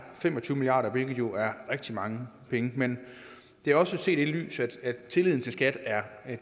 fem og tyve milliard kr hvilket jo er rigtig mange penge men det er også set i lyset af at tilliden til skat er